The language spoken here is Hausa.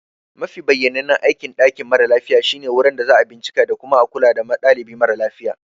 Mafi bayyanannen aikin dakin mara lafiya shine wurin da za a bincika da kuma kula da dalibi mara lafiya.